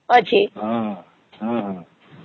ଅଛି